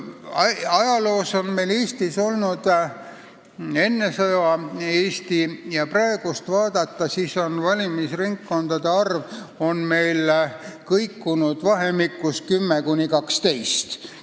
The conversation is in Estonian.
Kui vaadata Eestit enne sõda ja praegu, siis on näha, et valimisringkondade arv on kõikunud vahemikus 10–12.